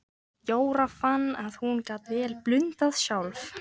Jóra fann að hún gat vel blundað sjálf.